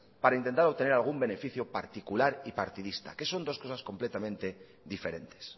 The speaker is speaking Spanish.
para intentar obtener algún beneficio particular y partidista que son dos cosas completamente diferentes